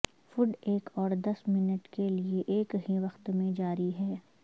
food ایک اور دس منٹ کے لئے ایک ہی وقت میں جاری ہے